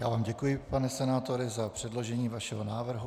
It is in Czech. Já vám děkuji, pane senátore za předložení vašeho návrhu.